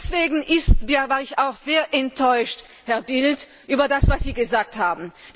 Deswegen war ich auch sehr enttäuscht, Herr Bildt, über das, was Sie gesagt haben!